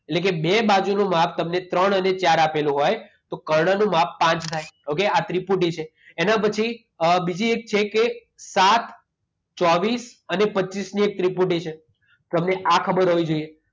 એટલે કે બે બાજુનું માપ તમને ત્રણ અને ચાર આપેલું હોય તો કર્ણનું માપ પાંચ થાય. ઓકે? આ ત્રિપુટી છે. એના પછી અ બીજી એક છે કે સાત, ચોવીસ અને પચીસની એક ત્રિપુટી છે. તમને આ ખબર હોવી જોઈએ.